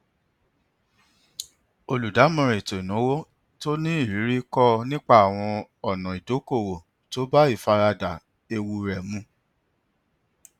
olùdámọràn ètòìnáwó tó ní ìrírí kọ ọ nípa àwọn ọnà idókòòwò tó bá ìfaradà ewu rẹ mu